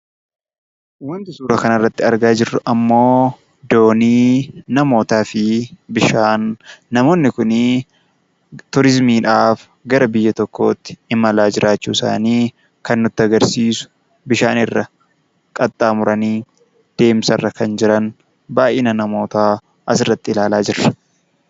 Waanti suuraa kanarratti argaa jirru ammoo doonii namootaa fi bishaan namootni kuni turizimiidhaaf gara biyya tokkootti imalaa jiraachuu isaanii kan nutti agarsiisu, bishaan irra qaxxaamuranii deemsarra kan jiran baay'ina namootaa asirratti ilaalaa jirra.